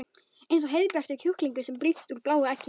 Eins og heiðbjartur kjúklingur sem brýst úr bláu eggi.